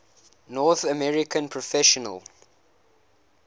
north american professional